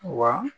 Wa